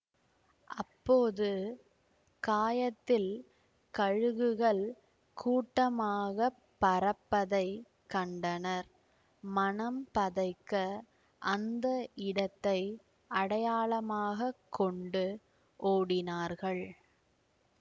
அப்போது காயத்தில் கழுகுகள் கூட்டமாகப் பறப்பதைக் கண்டனர் மனம் பதைக்க அந்த இடத்தை அடையாளமாகக் கொண்டு ஓடினார்கள்